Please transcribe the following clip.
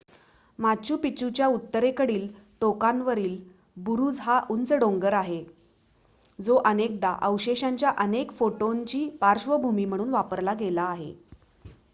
Machu पिच्चूच्या उत्तरेकडील टोकावरील बुरुज हा उंच डोंगर आहे जो अनेकदा अवशेषांच्या अनेक फोटोंची पार्श्वभूमी म्हणून वापरला गेला आहे